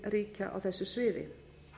nágrannaríkja á þessu sviði